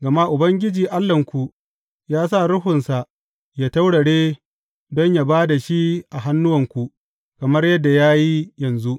Gama Ubangiji Allahnku ya sa ruhunsa ya taurare don yă ba da shi a hannuwanku kamar yadda ya yi yanzu.